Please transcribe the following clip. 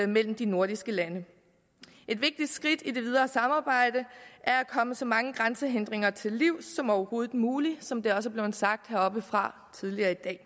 mellem de nordiske lande et vigtigt skridt i det videre samarbejde er at komme så mange grænsehindringer til livs som overhovedet muligt som det også er blevet sagt heroppefra tidligere i dag